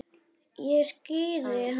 Ég skíri hann bara Rolu.